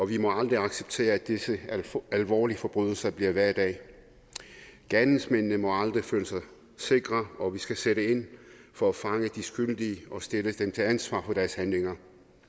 vi må aldrig acceptere at disse alvorlige forbrydelser bliver hverdag gerningsmændene må aldrig føle sig sikre og vi skal sætte ind for at fange de skyldige og stille dem til ansvar for deres handlinger